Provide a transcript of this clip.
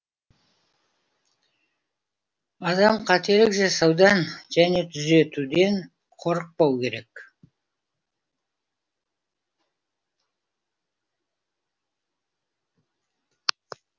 адам қателік жасаудан және түзетуден қорықпау керек